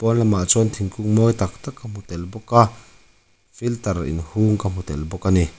hma lamah chuan thingkung mawi taktak ka hmu tel bawk a filter in hung ka hmu tel bawk ani.